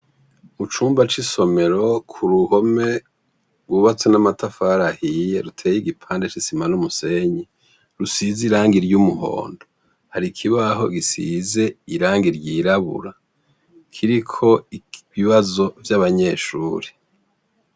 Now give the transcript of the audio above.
Mu cumba c'isomero ku ruhome rwubatswe n'amatafarahiye ruteye igipandeci isima n'umusenyi rusize iranga iryo umuhondo hari ikibaho gisize iranga iry irabura kiriko ibibazo vy'abanyeshuri.